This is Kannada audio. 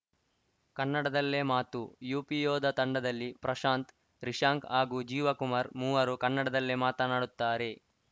ಕನ್ನಡದಲ್ಲೇ ಮಾತು ಯುಪಿಯೋಧಾ ತಂಡದಲ್ಲಿ ಪ್ರಶಾಂತ್‌ ರಿಶಾಂಕ್‌ ಹಾಗೂ ಜೀವ ಕುಮಾರ್‌ ಮೂವರು ಕನ್ನಡದಲ್ಲೇ ಮಾತನಾಡುತ್ತಾರೆ